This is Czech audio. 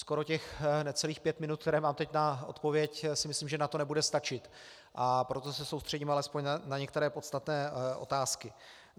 Skoro těch necelých pět minut, které mám teď na odpověď, si myslím, že na to nebude stačit, a proto se soustředím alespoň na některé podstatné otázky.